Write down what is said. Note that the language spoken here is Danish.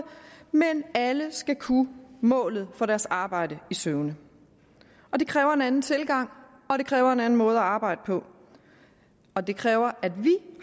men alle skal kunne målet for deres arbejde i søvne det kræver en anden tilgang og det kræver en anden måde at arbejde på og det kræver at vi